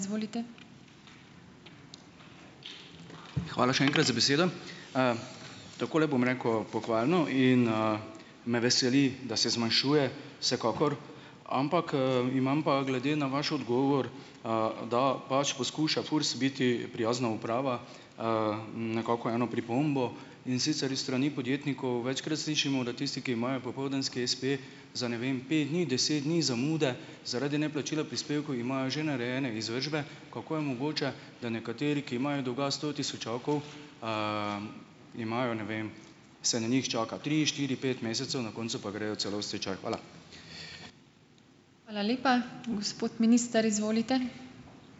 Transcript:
Hvala še enkrat za besedo. Takole bom rekel, pohvalno in, me veseli, da se zmanjšuje vsekakor, ampak, imam pa glede na vaš odgovor, da pač poskuša FURS biti prijazna uprava, nekako eno pripombo. In sicer iz strani podjetnikov večkrat slišimo, da tisti, ki imajo popoldanski espe, za, ne vem, pet dni, deset dni zamude zaradi neplačila prispevkov imajo že narejene izvršbe. Kako je mogoče, da nekateri, ki imajo dolga sto tisočakov, imajo, ne vem, se na njih čaka tri, štiri, pet mesecev, na koncu pa gredo celo v stečaj. Hvala.